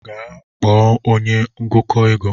Gaa kpọọ m onye ngụkọ ego.